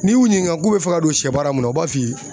N'i y'u ɲininga k'u bɛ fɛ ka don sɛ baara mun na u b'a f'i ye